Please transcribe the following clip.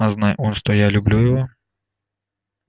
а знай он что я люблю его